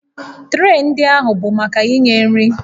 Tree ndị ahụ bụ maka inye nri